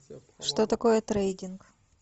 что такое трейдинг